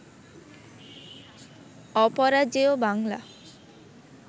Aparajeyo Bangla